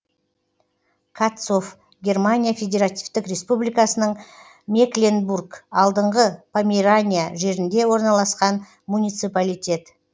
катцов германия федеративтік республикасының мекленбург алдыңғы померания жерінде орналасқан муниципалитет